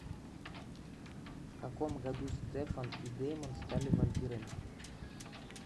в каком году стефан и деймон стали вампирами